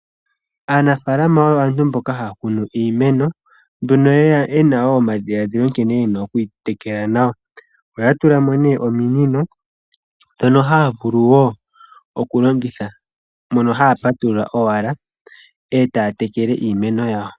Aanafalama oyo aantu mboka haya kunu iimeno, nduno ye na omadhiladhilo nkene ye na okwiitekela nawa oya tulamo ne ominino ndhono haya vulu wo okulongitha mono haya patulula owala e taya tekele iimeno yawo.